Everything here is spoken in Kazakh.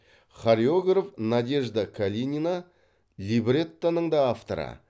хореограф надежда калинина либреттоның да авторы